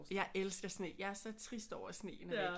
Jeg elsker sne jeg er så trist over at sneen er væk